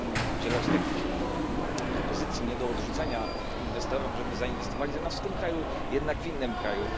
udzielać takich propozycji nie do odrzucenia inwestorom, żeby zainwestowali zamiast w tym kraju, jednak w innym kraju.